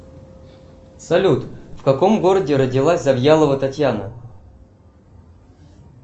салют в каком городе родилась завьялова татьяна